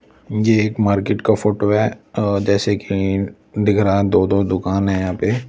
यह एक मार्केट का फोटो है अ जैसे कि दिख रहा है दो-दो दुकान है यहां पे--